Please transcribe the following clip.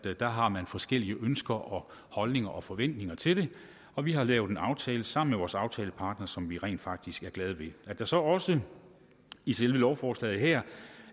at der har man forskellige ønsker og holdninger og forventninger til det og vi har lavet en aftale sammen med vores aftalepartnere som vi rent faktisk er glade ved at der så også i selve lovforslaget her